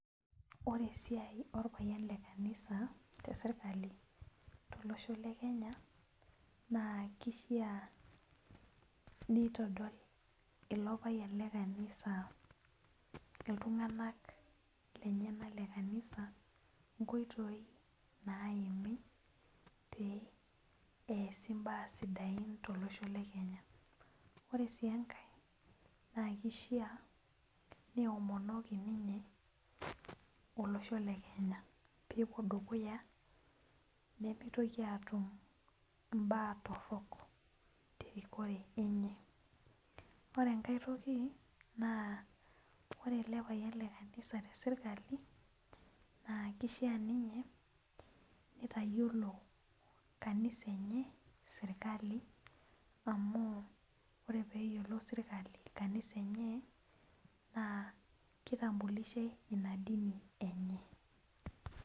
Ore esiai orpayian lekanisa teserkali tolosho le kenya naa kishaa pitadol ilo payian le kanisa ltung'anak lenyenak lekanisa nkoitoi naimi pee easi mbaa sidain tolosho le kenya. ore si enkae na kishaa neomonoki ninche olosho le Kenya pepuo dukuya nemitoki atum mbaa torok terikore enye ore enkae toki na ore elepayian lekanisa teserkali na kishaa ninye nitayiolo kanisa enye serkali amu ore peyiolou serkali kanisa enye nakitambulishai ina dini enye.